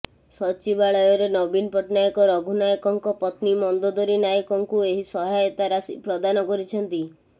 ସଚିବାଳୟରେ ନବୀନ ପଟ୍ଟନାୟକ ରଘୁ ନାୟକଙ୍କ ପତ୍ନୀ ମନ୍ଦୋଦରୀ ନାୟକଙ୍କୁ ଏହି ସହାୟତା ରାଶି ପ୍ରଦାନ କରିଛନ୍ତି